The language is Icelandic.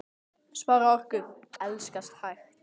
Spara orku. elskast hægt!